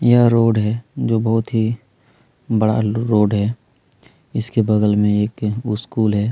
यह रोड है जो बहुत ही बड़ा रोड है इसके बगल में एक स्कूल है।